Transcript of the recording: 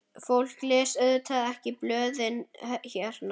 Fólk les auðvitað ekki blöðin hérna.